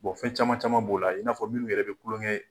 fɛn caman caman b'o la, i n'a fɔ minnu yɛrɛ bɛ kulon kɛ.